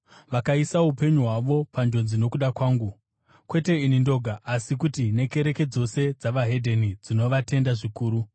Vakaisa upenyu hwavo panjodzi nokuda kwangu. Kwete ini ndoga asi kuti nekereke dzose dzavaHedheni dzinovatenda zvikuru.